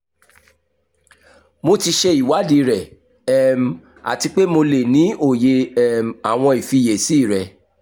mo ti ṣe iwadii rẹ um ati pe mo le ni oye um awọn ifiyesi rẹ